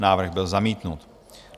Návrh byl zamítnut.